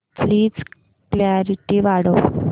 please clarity वाढव